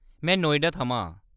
में नोएडा थमां आं।